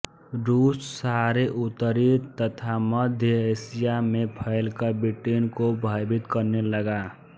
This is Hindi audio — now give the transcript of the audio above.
रूस सारे उत्तरी तथा मध्य एशिया में फैलकर ब्रिटेन को भयभत करने लगा